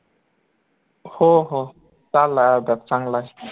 हो हो चाललंय आता चांगलंय